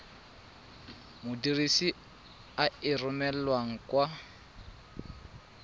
modirisi a e romelang kwa